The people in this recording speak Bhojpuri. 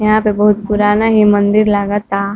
यहाँ पे बहुत पुराना ये मंदिर लागता।